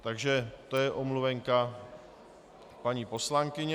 Takže to je omluvenka paní poslankyně...